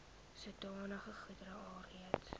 sodanige goedere alreeds